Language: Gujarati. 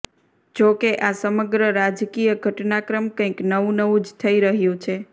જો કે આ સમગ્ર રાજકીય ઘટનાક્રમ કંઈક નવું નવું જ થઈ રહ્યું છે